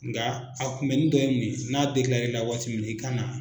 Nga a kunbɛni dɔ ye mun ye n'a waati min i ka na.